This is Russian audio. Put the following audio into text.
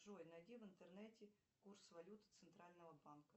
джой найди в интернете курс валют центрального банка